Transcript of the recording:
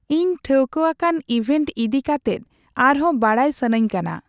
ᱤᱧ ᱴᱷᱟᱹᱣᱠᱟᱹ ᱟᱠᱟᱱ ᱤᱣᱷᱮᱱ ᱤᱫᱤ ᱠᱟᱛᱮᱜ ᱟᱨ ᱦᱚ ᱵᱟᱰᱟᱭ ᱥᱟᱱᱟᱧ ᱠᱟᱱᱟ